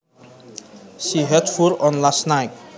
She had fur on last night